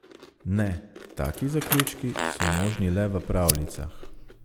Ne, taki zaključki so možni le v pravljicah.